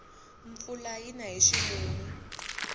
mpfula yina hi ximumu